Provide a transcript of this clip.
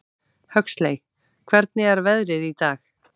Huxley, hvernig er veðrið í dag?